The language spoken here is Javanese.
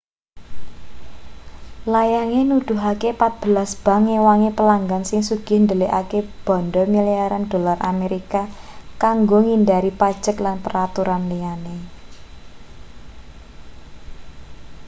layange nuduhake patbelas bank ngewangi pelanggan sing sugih ndelikake banda milyaran dolar amerika kanggo ngindhari pajek lan peraturan liyane